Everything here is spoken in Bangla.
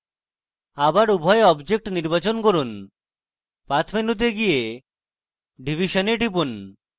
আবার উভয় objects নির্বাচন করুন path মেনুতে যান এবং division এ টিপুন